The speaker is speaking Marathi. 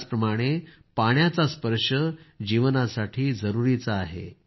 त्याचप्रमाणं पाण्याचा स्पर्श जीवनासाठी जरूरीचा आहे